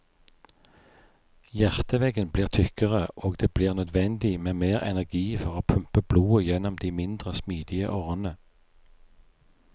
Hjerteveggen blir tykkere, og det blir nødvendig med mer energi for å pumpe blodet gjennom de mindre smidige årene.